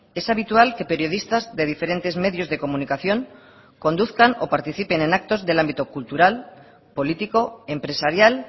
es habitual que periodistas de diferentes medios de comunicación conduzcan o participen en actos del ámbito cultural político empresarial